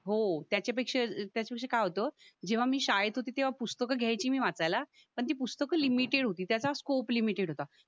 हो त्याच्या पेक्षा त्याच्याशी काय होतं जेव्हा मी शाळेत होती तेव्हा पुस्तकं घ्यायची मी वाचायला पण ती पुस्तकं लिमिटेड होती त्याचा स्कोप लिमिटेड होता